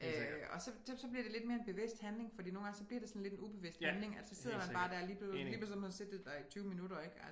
Øh og så bliver det lidt mere en bevidst handling fordi nogle gange så bliver det sådan lidt en ubevidst handling at så sidder man bare dér og lige pludselig har man siddet der i 20 minutter ik